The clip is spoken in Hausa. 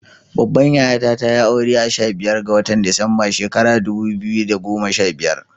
Babbar yayata tayi aure a sha biyar ga watan Disamba shekarar dubu biyu da goma sha biyar.